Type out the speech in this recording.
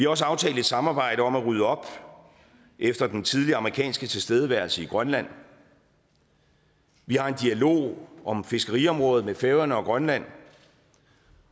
også aftalt et samarbejde om at rydde op efter den tidligere amerikanske tilstedeværelse i grønland vi har en dialog om fiskeriområdet med færøerne og grønland